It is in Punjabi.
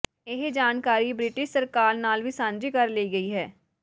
ਇਹ ਜਾਣਕਾਰੀ ਬ੍ਰਿਟਿਸ਼ ਸਰਕਾਰ ਨਾਲ ਵੀ ਸਾਂਝੀ ਕਰ ਲਈ ਗਈ ਹੈ